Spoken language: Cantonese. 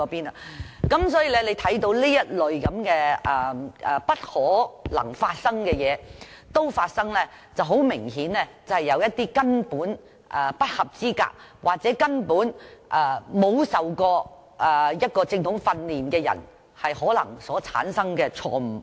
由此可見，這類不可能發生的事都會發生，很明顯，是有一些根本不合資格或沒有受過正統訓練的人造成的錯誤。